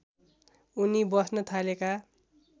उनी बस्न थालेका